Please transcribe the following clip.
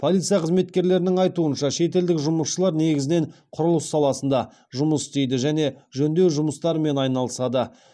полиция қызметкерлерінің айтуынша шетелдік жұмысшылар негізінен құрылыс саласында жұмыс істейді және жөндеу жұмыстарымен айналысады